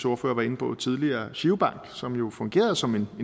ordfører var inde på tidligere girobank som jo fungerede som en